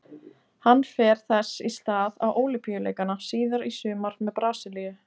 Hann fer þess í stað á Ólympíuleikana síðar í sumar með Brasilíu.